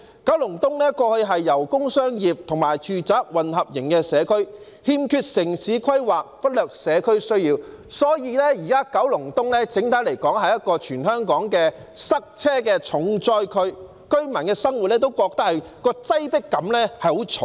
九龍東過去是一個工商業和住宅混合型社區，欠缺城市規劃，忽略社區需要，所以，現時九龍東整體來說是全香港塞車的重災區，居民在生活中都感到很重的擠迫感。